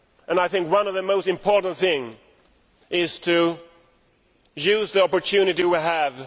I think one of the most important things is to use the opportunity we have.